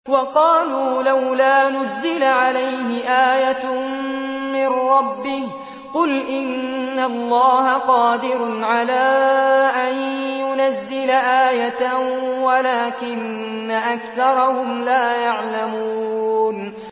وَقَالُوا لَوْلَا نُزِّلَ عَلَيْهِ آيَةٌ مِّن رَّبِّهِ ۚ قُلْ إِنَّ اللَّهَ قَادِرٌ عَلَىٰ أَن يُنَزِّلَ آيَةً وَلَٰكِنَّ أَكْثَرَهُمْ لَا يَعْلَمُونَ